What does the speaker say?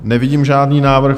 Nevidím žádný návrh.